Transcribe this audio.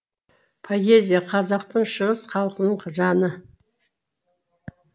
поэзия қазақтың шығыс халқының жаны